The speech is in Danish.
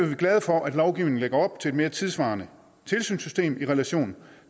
vi glade for at lovgivningen lægger op til et mere tidssvarende tilsynssystem i relation